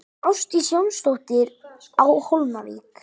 Ásdís Jónsdóttir á Hólmavík